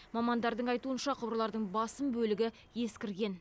мамандардың айтуынша құбырлардың басым бөлігі ескірген